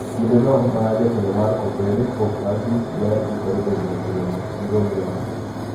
Kinde no ma jatelo mar kopere Pope Francis ne ikore bedo e romo gi rowere mang`eny